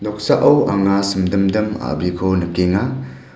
noksao anga simdimdim a·briko nikenga.